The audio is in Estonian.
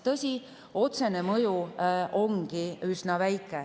Tõsi, otsene mõju ongi üsna väike.